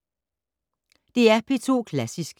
DR P2 Klassisk